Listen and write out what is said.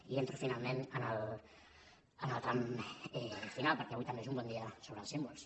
i entro finalment en el tram final perquè avui també és un bon dia sobre els símbols